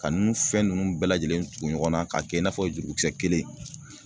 Ka nunnu fɛn nunnu bɛɛ lajɛlen tugu ɲɔgɔn na k'a kɛ i n'a fɔ jurukisɛ kelen